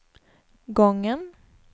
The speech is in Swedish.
gången